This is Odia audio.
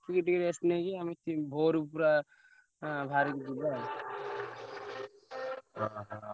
ଦେଖିକି ଟିକେ rest ନେଇକି ଆମେ ଠିକ୍ ଭୋରୁ ପୁରା ଆଁ ବାହାରିକି ଯିବା ଆଉ।